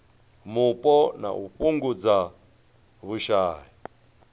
mupo na u fhungudza vhushai